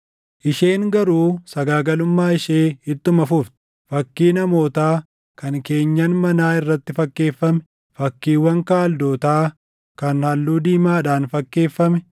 “Isheen garuu sagaagalummaa ishee ittuma fufte. Fakkii namootaa kan keenyan manaa irratti fakkeeffame, fakkiiwwan Kaldootaa kan halluu diimaadhaan fakkeeffame,